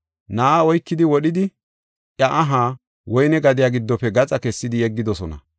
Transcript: Na7aa oykidi wodhidi, iya aha woyne gadiya giddofe gaxa kessidi yeggidosona.